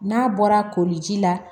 N'a bɔra koliji la